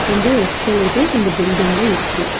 கொஞ்ஜோ எஸ்கலேட்டர்ஸ் இந்த பில்டிங்ல இருக்கு.